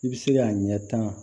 I bɛ se k'a ɲɛ tan